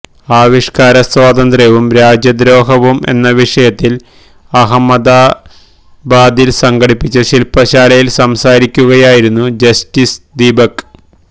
ആവിഷ്കാര സ്വാതന്ത്ര്യവും രാജ്യദ്രോഹവും എന്ന വിഷയത്തില് അഹമ്മദാബാദില് സംഘടിപ്പിച്ച ശില്പശാലയില് സംസാരിക്കുകയായിരുന്നു ജസ്റ്റിസ് ദീപക്